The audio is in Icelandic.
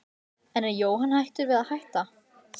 En er Jóhann hættur við að hætta?